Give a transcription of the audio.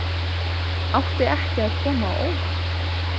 Átti ekki að koma á óvart